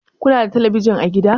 Ku na da telebijin a gida?